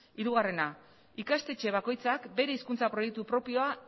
hirugarrena ikastetxe bakoitzak bere hizkuntza proiektu propioa